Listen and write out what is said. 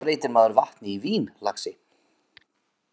Svona breytir maður vatni í vín, lagsi.